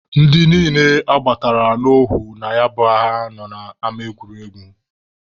Ndị niile agbatara n'ohu na ya bụ agha nọ n'ama egwuregwu.